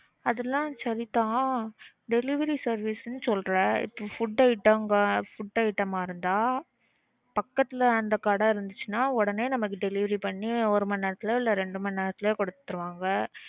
அதுலாம் சரிதான். delivery service ன்னு சொல்ற. இப்பொ food item food item ஆ இருந்தா பக்கத்துல அந்த கடை இருந்துச்சுன்னா உடனே நமக்கு delivery பண்ணி ஒரு மணிநேரத்துலயோ இல்ல ரெண்டு மணி நேரத்துலையோ குடுத்ருவாங்க